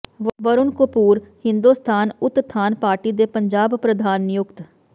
Varun Kapoor Hindustan Utthan party ਦੇ ਪੰਜਾਬ ਪ੍ਰਧਾਨ ਨਿਯੁੱਕਤ